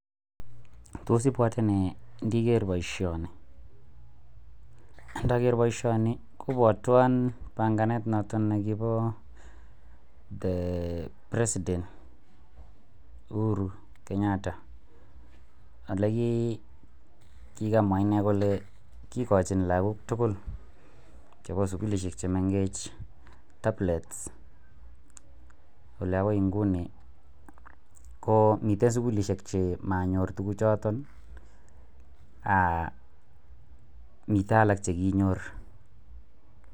Ndakeer bishonik kopwatwan panganet notok nekiboo the president uhuru Kenyatta olekikamwaa inee kolee kikochin lakok tukul chebo sukulishek chemengech tablet olee akoii ngunii komii sukulishek chekinyor komii chemanyorr